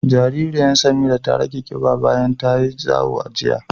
Jaririyan Samira ta rage ƙiɓa bayan tayi zawo da daren jiya.